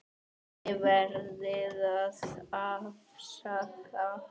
Þið verðið að afsaka.